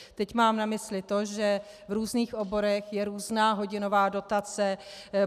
Teď mám na mysli to, že v různých oborech je různá hodinová dotace.